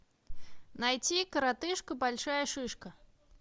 найти коротышка большая шишка